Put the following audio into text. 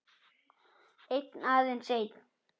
Einn, aðeins einn